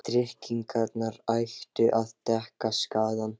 Svo tryggingarnar ættu að dekka skaðann?